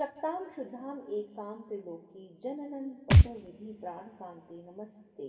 शक्तां शुद्धामेकां त्रिलोकीजननपटुविधिप्राणकान्ते नमस्ते